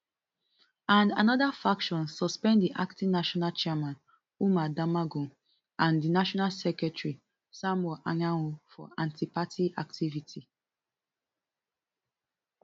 and anoda faction suspend di acting national chairman umar damagum and di national secretary samuel anyanwu for antiparty activity